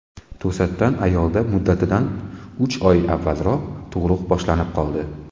To‘satdan ayolda muddatidan uch oy avvalroq tug‘ruq boshlanib qoldi.